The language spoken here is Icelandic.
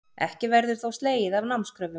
Ekki verður þó slegið af námskröfum